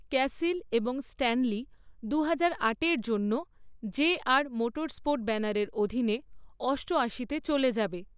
ক্যাসিল এবং স্ট্যানলি দু হাজার আটের জন্য যে.আর মোটরস্পোর্টস ব্যানারের অধীনে অষ্টআশিতে চলে যাবে।